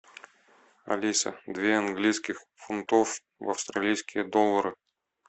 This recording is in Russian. алиса две английских фунтов в австралийские доллары